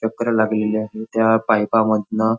चक्र लागलेली आहे त्या पाईपा मधन --